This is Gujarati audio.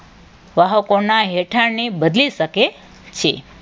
વાહકોના રહેઠાણને બદલી શકે છે.